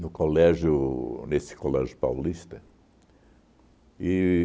no colégio, nesse colégio paulista.